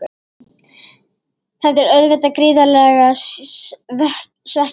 Þetta er auðvitað gríðarlega svekkjandi.